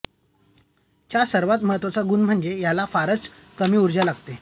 चा सर्वात महत्त्वाचा गुण म्हणजे याला फारच कमी उर्जा लागते